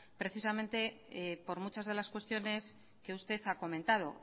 precisamente por muchas de las cuestiones que usted ha comentado